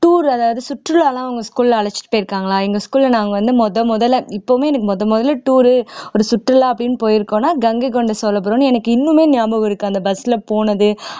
tour அதாவது சுற்றுலா எல்லாம் உங்க school ல அழைச்சிட்டு போயிருக்களா எங்க school ல நாங்க வந்து முதல் முதல்ல இப்பவுமே எனக்கு முதல் முதல்ல tour ஒரு சுற்றுலா அப்படீன்னு போயிருக்கோம்ன்னா கங்கைகொண்ட சோழபுரம் எனக்கு இன்னுமே ஞாபகம் இருக்கு அந்த bus ல போனது